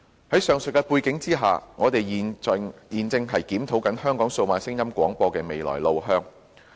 在上述背景下，我們正在檢討香港數碼廣播的未來路向。